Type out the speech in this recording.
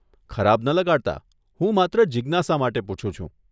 ખરાબ ન લગાડતા, હું માત્ર જીજ્ઞાસા માટે પુછું છું.